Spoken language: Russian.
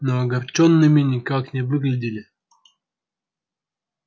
но огорчёнными никак не выглядели